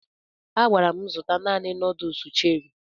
A gwara m zụta naanị nuduls Cherị